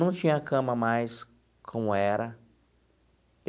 Não tinha cama mais como era.